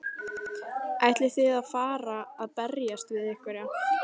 Ætlið þið að fara að berjast við einhverja?